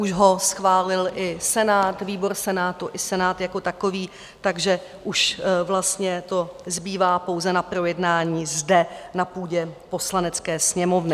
Už ho schválil i Senát, výbor Senátu i Senát jako takový, takže už vlastně to zbývá pouze na projednání zde na půdě Poslanecké sněmovny.